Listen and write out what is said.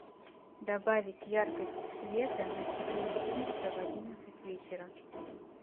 добавить яркость света на четыре пункта в одиннадцать вечера